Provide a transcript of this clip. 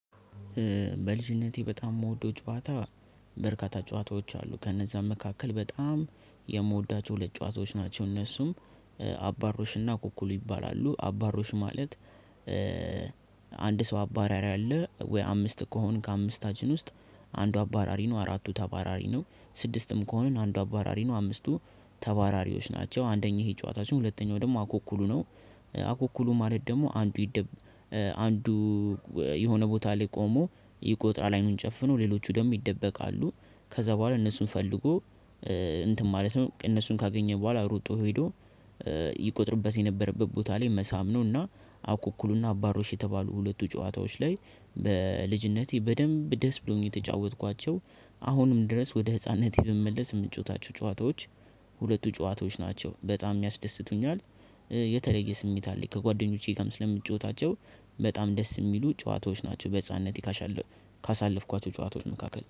በልጅነቴ በጣም የምወደው ጨዋታ በርካታ ጨዋታዎች አሉ ከነዛ መካከል በጣም የምወዳቸው ሁለት ጨዋታዎች ናቸው። እነሱም አባሮሽና ኩኩሉ ይባላሉ አባሮሽ ማለት ሰው አባራሪ አለ ወይ አምስት ከሆንክ ከአምስታችን ውስጥ አንዱ አባራሪ ነው፤ አራቱ ተባራሪ ነው፤ ስድስትም ከሆነ አንዱ አባራሪ ነው፤ አምስቱ ተባራሪዎች ናቸው። አንደኛ ይሄ ጨዋታችን ሁለተኛው ደግሞ አኩኩሉ ነው። አኩኩሉ ማለት ደግሞ አንዱ አንዱ የሆነ ቦታ ላይ ቆሞ ይቆጥራል አይኑን ጨፍነው ሌሎቹ ደግሞ ይደበቃሉ ከዛ በኋላ እነሱን ፈልጎ እንትን ማለት ነው። እነሱን ካገኘን በኋላ ሩጦ ሄዶ ይቆጥርበት የነበረበት ቦታ ላይ መሳም ነውና አኩኩሉና አባሮሽ የተባሉ ሁለቱ ጨዋታዎች ላይ በልጅነቴ በደንብ ደስ ብሎኝ የተጫወትኳቸው አሁንም ድረስ ወደ ህፃንነቴ ብመለስ የምንጫወታቸው ጨዋታዎች ሁለቱ ጨዋታዎች ናቸው። በጣም ያስደስቱኛል የተለየ ስሜት አለኝ ከጓደኞቼ ስለምጫወታቸው በጣም ደስ የሚሉ ጨዋታዎች ናቸው በህፃንነት ካሻለ ካሳለፍኳቸው ጨዋታዎች መካከል